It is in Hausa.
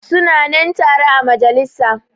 Su na nan tare a majalisa.